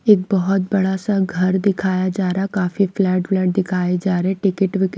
एक बहुत बड़ा सा घर दिखाया जा रहा काफी फ्लैट वलेट दिखाए जा रहे टिकट विकट--